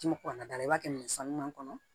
K'i kɔntan da la i b'a kɛ minɛn sanuman kɔnɔ